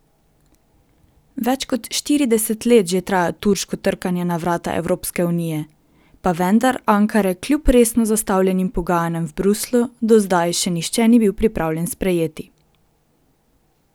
Več kot štirideset let že traja turško trkanje na vrata Evropske unije, pa vendar Ankare kljub resno zastavljenim pogajanjem v Bruslju do zdaj še nihče ni bil pripravljen sprejeti.